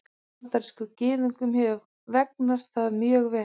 Bandarískum Gyðingum hefur vegnað þar mjög vel.